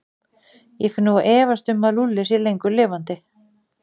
Ég fer nú að efast um að Lúlli sé lengur lifandi.